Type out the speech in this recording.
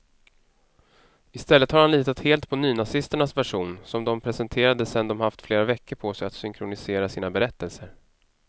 I stället har han litat helt på nynazisternas version, som de presenterade sedan de haft flera veckor på sig att synkronisera sina berättelser.